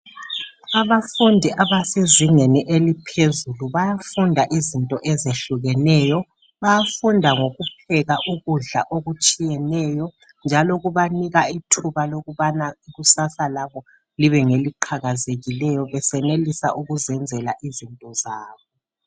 Abafundi abasezingeni eliphezulu bayafunda izinto ezehlukeneyo. Bayafunda ngokupheka ukudla okutshiyeneyo njalo kubanika ithuba lokubana ikusasa labo libengeliqhakazileyo besenelisa ukuzenzela izinto zabo.